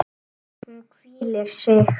Hún hvílir sig.